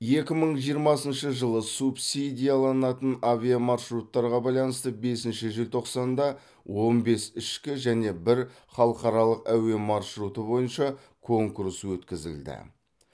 екі мың жиырмасыншы жылы субсидияланатын авиамаршруттарға байланысты бесінші желтоқсанда он бес ішкі және бір халықаралық әуе маршруты бойынша конкурс өткізілді